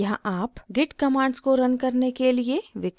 यहाँ आप git commands को रन करने के लिए विकल्प चुन सकते हैं